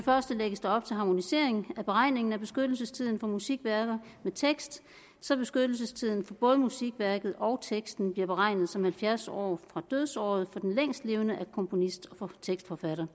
første lægges der op til harmonisering af beregningen af beskyttelsestiden på musikværker med tekst så beskyttelsestiden for både musikværket og teksten bliver beregnet som halvfjerds år fra dødsåret for den længstlevende af komponist og tekstforfatter